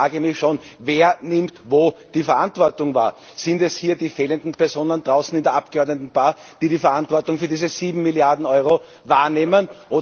Und ich frage mich Wer nimmt wo die Verantwortung wahr? Sind es die hier fehlenden Personen draußen in der Abgeordnetenbar, die die Verantwortung für diese sieben Milliarden Euro übernehmen?